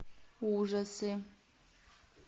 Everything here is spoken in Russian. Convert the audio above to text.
ужасы